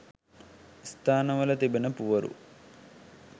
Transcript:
ස්ථානවල තිබෙන පුවරු